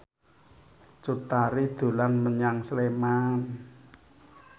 Cut Tari dolan menyang Sleman